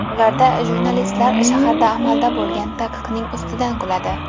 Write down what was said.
Ularda jurnalistlar shaharda amalda bo‘lgan taqiqning ustidan kuladi.